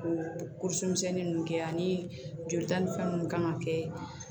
O misɛnnin ninnu kɛ ani jolita ni fɛn munnu kan ka kɛ